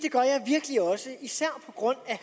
at også især på grund af